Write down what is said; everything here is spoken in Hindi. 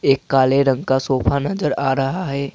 एक काले रंग का सोफा नजर आ रहा है।